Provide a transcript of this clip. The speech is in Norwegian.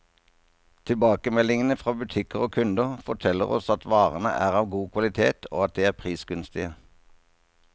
Tilbakemeldingene fra butikker og kunder, forteller oss at varene er av god kvalitet, og at de er prisgunstige.